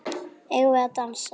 Eigum við að dansa?